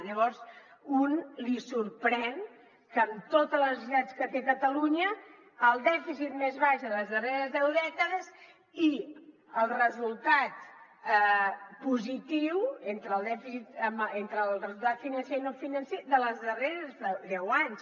llavors a un li sorprèn que amb totes les necessitats que té catalunya el dèficit més baix de les darreres deu dècades i el resultat positiu entre el resultat financer i no financer dels darrers deu anys